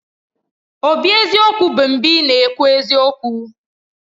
Obi eziokwu bụ mgbe ị na-ekwu eziokwu